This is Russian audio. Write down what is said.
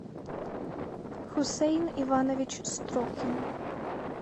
хусейн иванович строкин